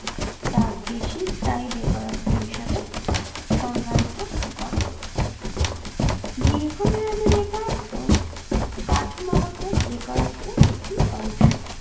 তার বেশি বেকারত্বের হিসাবে সংজ্ঞায়িত করে দীর্ঘমেয়াদী বেকারত্ব কাঠামোগত বেকারত্বের একটি অংশ